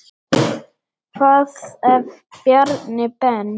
Hvað ef Bjarni Ben.